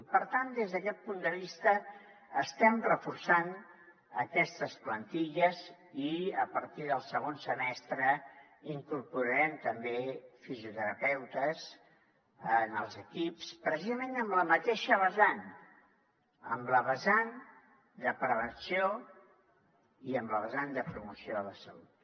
i per tant des d’aquest punt de vista estem reforçant aquestes plantilles i a partir del segon semestre incorporarem també fisioterapeutes en els equips precisament en la mateixa vessant en la vessant de prevenció i en la vessant de promoció de la salut